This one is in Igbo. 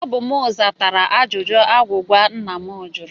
Ọ bụ m zatara ajụjụ agwụgwa nna m jụrụ